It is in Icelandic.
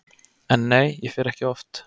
En nei, ég fer ekki oft.